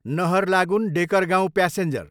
Naharlagun, Dekargaon passenger